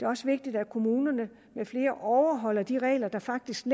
også vigtigt at kommunerne med flere overholder de regler der faktisk